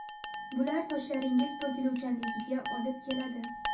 Bular sochlaringiz to‘kiluvchanligiga olib keladi.